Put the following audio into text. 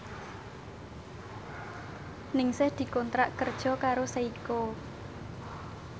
Ningsih dikontrak kerja karo Seiko